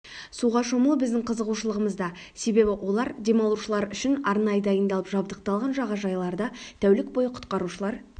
суға шомылу біздің қызығушылығымызда себебі олар демалушылар үшін арнайы дайындалып жабдықталған жағажайларда тәулік бойы құтқарушылар